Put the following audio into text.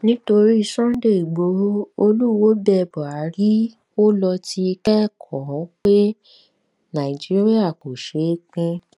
nítorí sunday igboro olúwoo bẹ buhari ó lọ ti kẹkọọ pé nàìjíríà kò sè é pin